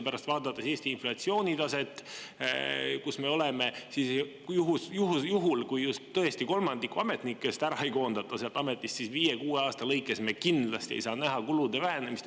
Vaadates Eesti praegust inflatsioonitaset, võib, et kui just tõesti kolmandikku ametnikest ära ei koondata seal ametis, siis viie-kuue aasta lõikes me kindlasti ei saa näha kulude vähenemist.